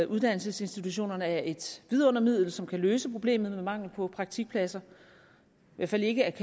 uddannelsesinstitutionerne er et vidundermiddel som kan løse problemet med mangel på praktikpladser i hvert fald ikke